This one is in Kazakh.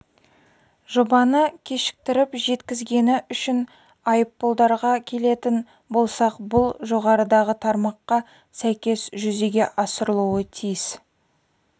жобаны кешіктіріп жеткізгені үшін айыппұлдарға келетін болсақ бұл жоғарыдағы тармаққа сәйкес жүзеге асырылуы тиіс